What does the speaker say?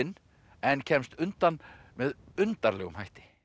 en kemst undan með undarlegum hætti